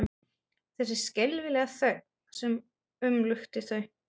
Þessi skelfilega þögn sem umlukti þau.